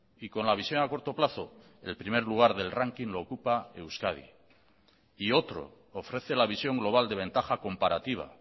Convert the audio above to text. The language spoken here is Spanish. y con la visión a corto plazo el primer lugar del ranking lo ocupa euskadi y otro ofrece la visión global de ventaja comparativa